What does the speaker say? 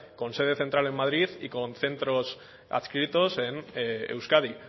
con sede central en madrid y con centros adscritos en euskadi